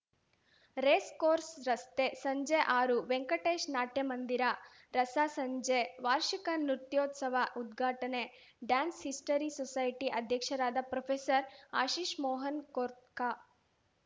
racecourse ರಸ್ತೆ ಸಂಜೆ ಆರು ವೆಂಕಟೇಶ್‌ ನಾಟ್ಯ ಮಂದಿರ ರಸ ಸಂಜೆ ವಾರ್ಷಿಕ ನೃತ್ಯೋತ್ಸವ ಉದ್ಘಾಟನೆ ಡ್ಯಾನ್ಸ್‌ ಹಿಸ್ಟರಿ ಸೊಸೈಟಿ ಅಧ್ಯಕ್ಷರಾದ ಪ್ರೊಫೆಸರ್ಆಶಿಷ್‌ ಮೋಹನ್‌ ಕೊರ್ಖಾ